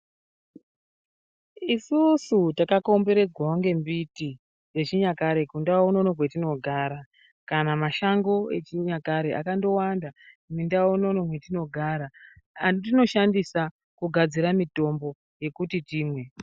Isusu takakomberedzaa nembiti dzechinyakare kundau unono kwatinogara kana mashango echinyakare akandowanda mundau unono matinogara atinosahndisa mitombo.